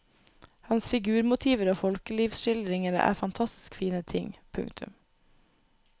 Hans figurmotiver og folkelivsskildringer er fantastisk fine ting. punktum